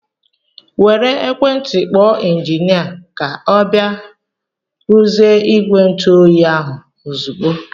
Were ekwentị kpọọ injinia ka ọ bịa ruzie ìgwè ntụ oyi ahụ ozigbo!!!!